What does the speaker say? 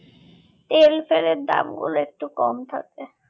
তেল ফেলের দাম গুলো একটু কম থাকে